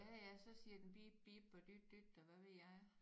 Ja ja så siger den bib bib og dyt dyt